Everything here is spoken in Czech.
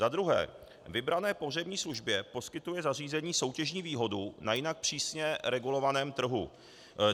Za druhé - vybrané pohřební službě poskytuje zařízení soutěžní výhodu na jinak přísně regulovaném trhu.